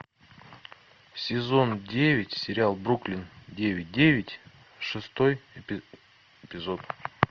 сезон девять сериал бруклин девять девять шестой эпизод